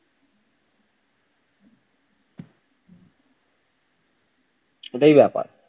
ওটাই ব্যাপার